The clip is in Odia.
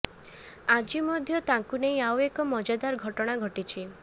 ଆଜି ମଧ୍ୟ ତାଙ୍କୁ ନେଇ ଆଉ ଏକ ମଜାଦାର ଘଟଣା ଘଟିଛି